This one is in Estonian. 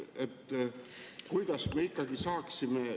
Kuidas me ikkagi saaksime ...